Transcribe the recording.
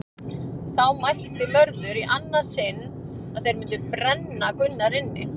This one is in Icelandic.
Þá mælti Mörður í annað sinn að þeir mundu brenna Gunnar inni.